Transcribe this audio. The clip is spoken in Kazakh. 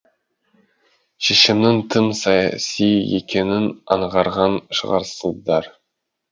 шешімнің тым саяси екенін аңғарған шығарсыздар